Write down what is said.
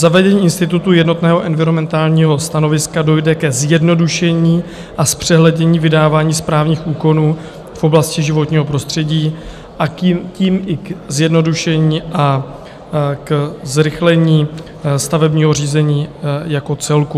Zavedením institutu jednotného environmentálního stanoviska dojde ke zjednodušení a zpřehlednění vydávání správních úkonů v oblasti životního prostředí, a tím i ke zjednodušení a k zrychlení stavebního řízení jako celku.